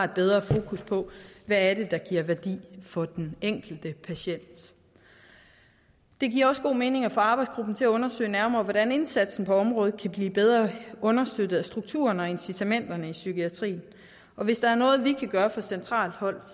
bedre på hvad der giver værdi for den enkelte patient det giver også god mening at få arbejdsgruppen til at undersøge nærmere hvordan indsatsen på området kan blive bedre understøttet af strukturen og incitamenterne i psykiatrien hvis der er noget vi kan gøre fra centralt hold